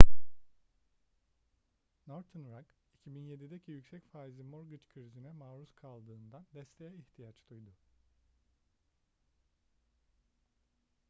northern rock 2007'deki yüksek faizli mortgage krizine maruz kaldığından desteğe ihtiyaç duydu